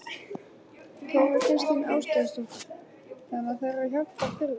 Þóra Kristín Ásgeirsdóttir: Þannig að þær eru hjálpar þurfi?